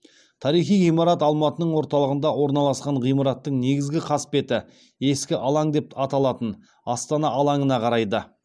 тарихи ғимарат алматының орталығында орналасқан ғимараттың негізгі қасбеті ескі алаң деп аталатын астана алаңына қарайды